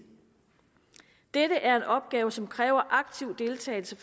dette er en opgave som kræver aktiv deltagelse